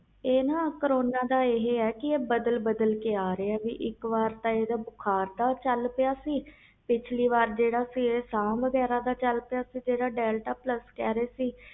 corona ਤੇ ਹੈ ਇਹ ਬਦਲ ਬਦਲ ਕੇ ਆ ਰਹੇ ਇਕ ਵਾਰ ਤਾ ਬੁਖ਼ਾਰ ਨਾਲ ਸੀ ਫਿਰ ਸਾਹ ਨਾਲ ਚਲ ਪਿਆ ਸੀ dantaplus ਕਹਿ ਰਹੇ ਸੀ